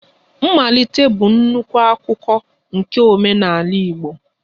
Mmalite bụ nnukwu akụkụ nke omenala Igbo